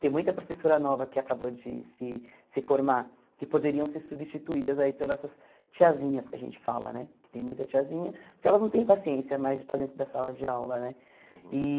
Tem muita professora nova que acabou de se se formar, que poderiam ser substituídas aí por essas tiazinhas que a gente fala né, que tem muita tiazinha, porque elas não têm paciência mais de estar dentro da sala de aula né e.